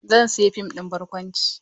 Zan sayi fim ɗin barkwanci.